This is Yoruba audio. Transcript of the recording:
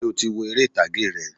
Sé o ti wo eré ìtàgé rẹ̀?